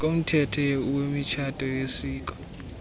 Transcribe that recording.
komthetho wemitshato yesiko